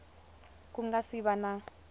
ku nga si va na